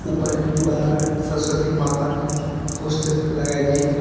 ऊपर है दीवार पर सरस्वती माता की पोस्टर लगाई गई है।